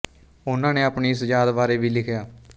ਉਹਨਾਂ ਨੇ ਆਪਣੀ ਇਸ ਯਾਦ ਬਾਰੇ ਵੀ ਲਿਖਿਆ